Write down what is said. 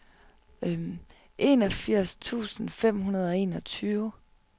enogfirs tusind fem hundrede og enogtyve